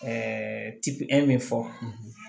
tipiyɛn min fɔ